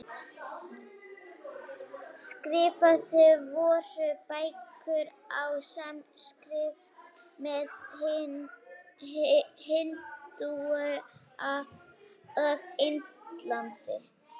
Skrifaðar voru bækur á sanskrít meðal hindúa á Indlandi.